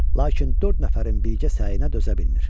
Lakin dörd nəfərin birgə səyinə dözə bilmir.